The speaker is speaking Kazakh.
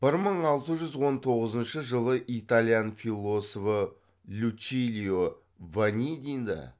бір мың алты жүз он тоғызыншы жылы италиян философы лючилио ванидиді